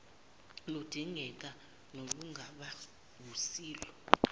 ludingeka nolungaba wusilo